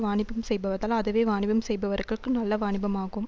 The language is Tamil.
வாணிபம் செய்பதலா அதுவே வாணிபம் செய்பவர்களுக்கு நல்ல வாணிபம் ஆகும்